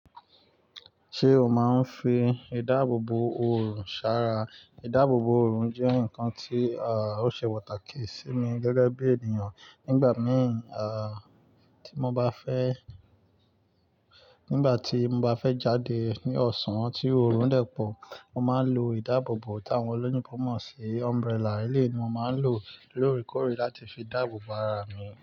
Ṣé o máa ń fi ìdáàbòbò oorun ṣára? Ìdáàbòbò oorun jẹ́ nǹkan tí, à, ó ṣe pàtàkì sí mi gẹ́gẹ́ bí ènìyàn. Nígbà mí, tí mo bá fẹ́, nígbà tí mo bá fẹ́ jáde ní ọ̀sán tí oorun dẹ́pọ̀, mo máa ń lo ìdáàbòbò tàwọn olóyinbo mọ̀ sí umbrella. Eleyii ni mo máa ń lò lóòrèkóòrè láti fi dáàbò bo ara mi.